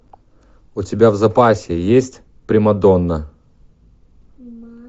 у тебя в запасе есть примадонна